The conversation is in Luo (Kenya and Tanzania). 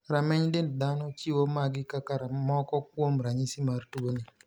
Rameny dend dhano chiwo magi kaka moko kuom ranyisi mar tuoni.